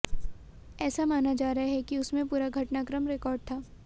ऐसा माना जा रहा है कि उसमें पूरा घटनाक्रम रेकार्ड था